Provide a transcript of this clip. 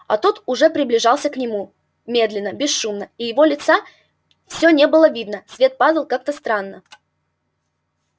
а тот уже приближался к нему медленно бесшумно и его лица все не было видно свет падал как-то странно